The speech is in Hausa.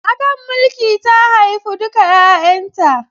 A kan mulki ta haifi duka 'yayanta.